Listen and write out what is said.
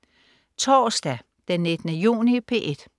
Torsdag den 19. juni - P1: